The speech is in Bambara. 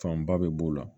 Fanba bɛ b'o la